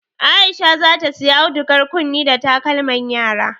Aisha zata siya audugar kunne da takalman yara